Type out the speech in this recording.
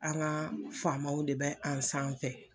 An ga faamaw de bɛ an sanfɛ